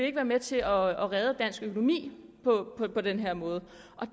ikke være med til at redde dansk økonomi på den her måde